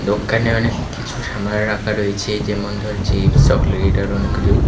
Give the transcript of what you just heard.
দোক্কানে অনেক কিছু সামান রাখা রয়েছে যেমন ধরো চিপস চকলেট আরও অনেক কিছু --